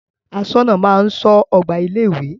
Aṣọ́nà máa ń ṣọ́ ọgbà ilé ìwé.